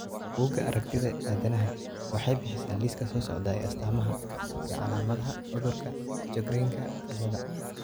Bugaa aragtida aDdanaha waxay bixisaa liiska soo socda ee astamaha iyo calaamadaha cudurka Sjogrenka ciladha.